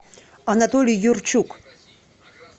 анатолий юрчук